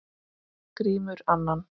Grímur annan.